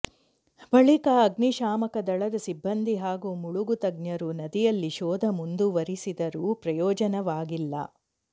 ಬಳಿಕ ಅಗ್ನಿಶಾಮಕ ದಳದ ಸಿಬ್ಬಂದಿ ಹಾಗೂ ಮುಳುಗು ತಜ್ಞರು ನದಿಯಲ್ಲಿ ಶೋಧ ಮುಂದುವರಿಸಿದರೂ ಪ್ರಯೋಜನವಾಗಿಲ್ಲ